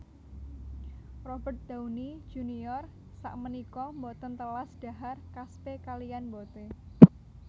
Robert Downey Junior sakmenika mboten telas dhahar kaspe kaliyan mbothe